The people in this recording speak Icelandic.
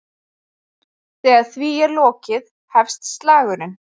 Þegar því er lokið hefst slagurinn.